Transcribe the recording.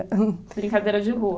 Brincadeira de rua.